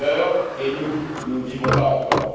Nos amis meurent et nous, nous ne vivons pas encore.